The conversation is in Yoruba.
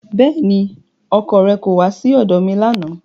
Bẹ́ẹ̀ni, ọkọ rẹ kò wá sí ọ̀dọ̀ mi lánàá